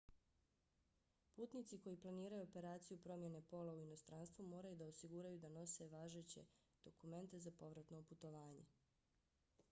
putnici koji planiraju operaciju promjene pola u inostranstvu moraju da osiguraju da nose važeće dokumente za povratno putovanje